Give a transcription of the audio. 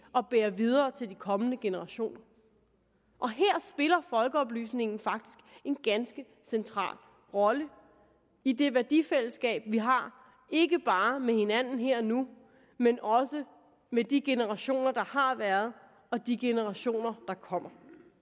at bære videre til de kommende generationer og her spiller folkeoplysningen faktisk en ganske central rolle i det værdifællesskab vi har ikke bare med hinanden her og nu men også med de generationer der har været og de generationer der kommer